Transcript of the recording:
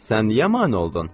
Sən niyə mane oldun?